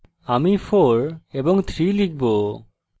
আমি 4 এবং 3 হিসাবে লিখব